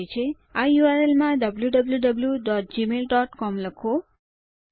આ યુઆરએલ બારમાં wwwgmailcom લખો